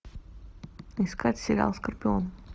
искать сериал скорпион